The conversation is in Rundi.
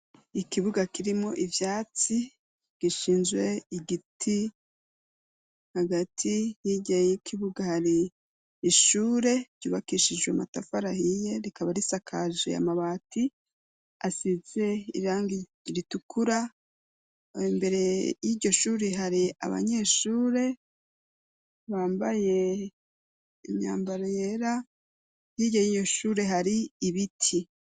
ikibuga kirimo ivyatsi gishinzwe igiti hagati yigeye y'ikibuga hari ishure ryubakishijwe amatafari ahiye rikaba risakajwe na mabati asize irangi ritukura mbere y'iryo shuri hari abanyeshure bambaye imyambaro yera hirya yiyoshure hari ibiti